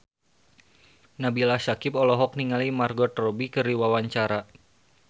Nabila Syakieb olohok ningali Margot Robbie keur diwawancara